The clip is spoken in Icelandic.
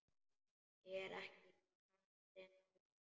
Er ekki karlinn að ljúga?